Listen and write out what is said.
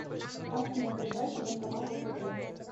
афина ближайший банкомат втб